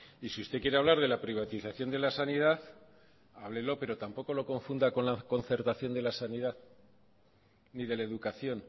y si usted quiere hablar de la privatización de la sanidad háblelo pero tampoco lo confunda con la concertación de la sanidad ni de la educación